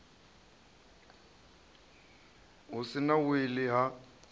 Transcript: hu si na wili ha